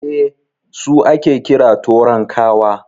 Eh, su ake kira "Torankawa".